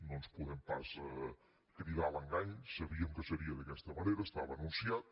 no ens podem pas cridar a l’engany sabíem que seria d’aquesta manera estava anunciat